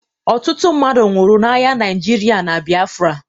Ọtụtụ mmadụ nwụrụ n'agha Naịjirịa na Biafra